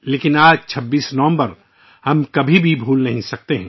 لیکن، ہم 26 نومبر کے اِس دن کو کبھی نہیں بھلاسکتے